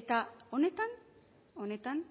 eta honetan honetan